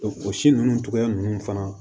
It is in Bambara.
o si ninnu cogoya ninnu fana